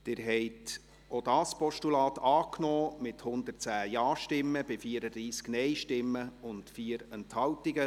Sie haben auch dieses Postulat angenommen, mit 110 Ja-, 34 Nein-Stimmen und 4 Enthaltung.